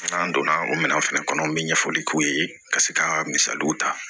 N'an donna o minɛn fɛnɛ kɔnɔ an bɛ ɲɛfɔli k'u ye ka se ka misaliw ta